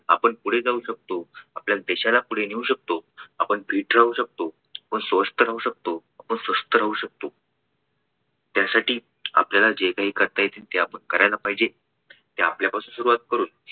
आपण पुढे जाऊ शकतो आपल्या देशाला पुढे नेऊ शकतो आपण fit राहू शकतो व स्वस्थ राहू शकतो आपण स्वस्थ राहू शकतो. त्यासाठी आपल्याला जे काही करता येईल ते आपण करायला पाहिजे हे आपल्या पासुन सुरुवात करून